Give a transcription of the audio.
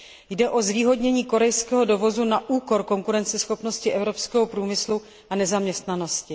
Jde o zvýhodnění korejského dovozu na úkor konkurenceschopnosti evropského průmyslu a na úkor nezaměstnanosti.